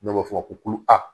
Dɔw b'a fɔ ko